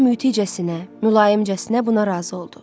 Şeyx mütiçəsinə, mülayimcəsinə buna razı oldu.